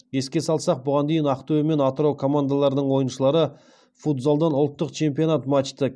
еске салсақ бұған дейін ақтөбе мен атырау командаларының ойыншылары футзалдан ұлттық чемпионат матчты